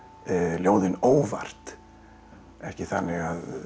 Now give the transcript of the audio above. ljóðin óvart ekki þannig að